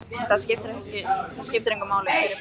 Það skiptir engu máli hver er bróðir hvers.